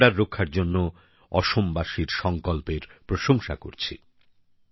আমি গন্ডার রক্ষার জন্য অসমবাসীর সংকল্পের প্রশংসা করছি